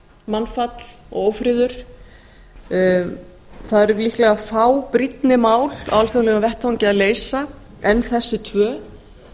mannfall og ófriður það eru líklega fá brýnni mál á alþjóðlegum vettvangi að leysa en þessi tvö